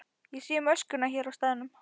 Ég sé um öskuna hér á staðnum.